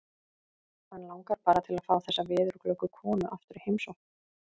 Hann langar bara til að fá þessa veðurglöggu konu aftur í heimsókn.